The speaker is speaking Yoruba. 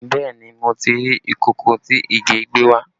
Bẹẹ ni, mo ti rí ìkòkò tí Ìgè gbé wá